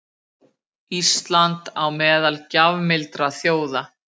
Ísland á meðal gjafmildra þjóða